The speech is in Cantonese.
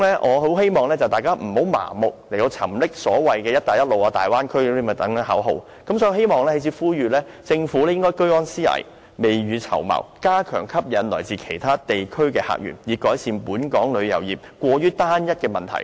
我希望大家不要盲目沉溺在所謂"一帶一路"和大灣區等口號，我在此呼籲，政府應該居安思危，未雨綢繆，加強吸引來自其他地區的客源，以改善本港旅遊業過於單一的問題。